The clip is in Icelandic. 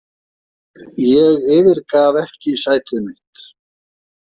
Ég yfirgaf ekki sætið mitt.